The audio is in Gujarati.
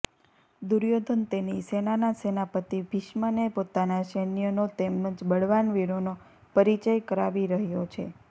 દુર્યોધન તેની સેનાના સેનાપતિ ભીષ્મને પોતાના સૈન્યનો તેમ જ બળવાન વીરોનો પરિચય કરાવી રહ્યો છે